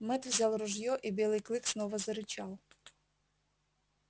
мэтт взял ружье и белый клык снова зарычал